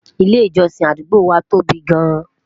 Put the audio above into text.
ilé ìjósìn àdúgbò wa tóbi gaan